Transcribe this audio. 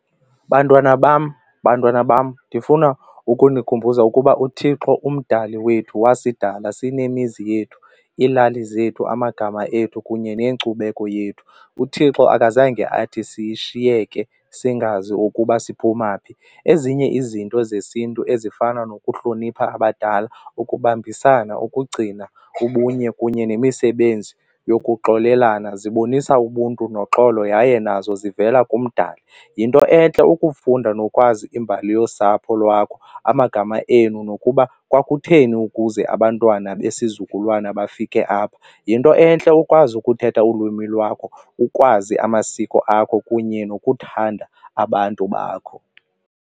Bantwana bam, bantwana bam ndifuna ukunikhumbuza ukuba uThixo umdali wethu wasisidala sinemizi yethu, iilali zethu, amagama ethu kunye nenkcubeko yethu. UThixo akazange athi sishiyeke singazi okuba siphuma phi. Ezinye izinto zesiNtu ezifana nokuhlonipha abadala, ukubambisana, ukugcina ubunye kunye nemisebenzi yokuxolelana zibonisa ubuntu noxolo yaye nazo zivela kumdali. Yinto entle ukufunda nokwazi imbali yosapho lwakho, amagama enu nokuba kwakutheni ukuze abantwana besizukulwana bafike apha. Yinto entle ukwazi ukuthetha ulwimi lwakho, ukwazi amasiko akho kunye nokuthanda abantu bakho.